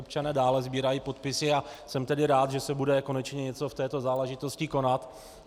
Občané dále sbírají podpisy a jsem tedy rád, že se bude konečně něco v této záležitosti konat.